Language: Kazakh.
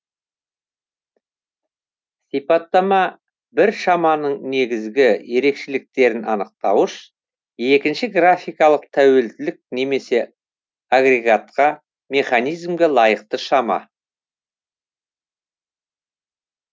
сипаттама бір шаманың негізгі ерекшеліктерін анықтауыш екінші графикалық тәуелділік немесе агрегатқа механизмге лайықты шама